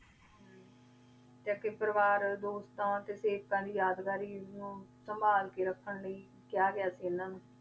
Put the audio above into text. ਟਾਕੀ ਪਰਿਵਾਰ ਦੋਸਤਾਂ ਦੀ ਯਾਦਗਾਰੀ ਯਾਦਗਾਰੀ ਨੂ ਸੰਭਾਲ ਕੇ ਰਖਣ ਲੈ ਖਯਾ ਗਯਾ ਸੀ ਏਨਾ ਨੂ